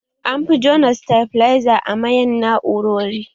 An fi juna sitabiliza a mayan na'urori